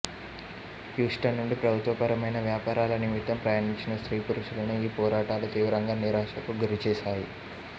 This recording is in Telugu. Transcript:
హ్యూస్టన్ నుండి ప్రభుత్వ పరమైన వ్యాపారల నిమిత్తం ప్రయాణించిన స్త్రీ పురుషులను ఈ పోరాటాలు తీవ్రంగా నిరాశకు గురి చేసాయి